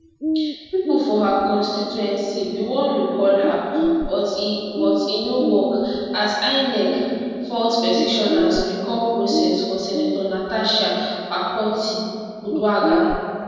pipo for her constituency bin wan recall her but e but e no work asinec fault petitioners recall process for senator natasha akpotiuduaghan